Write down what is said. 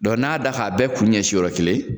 Dɔ n'a y'a da k'a bɛɛ kun ɲɛsin yɔrɔ kelen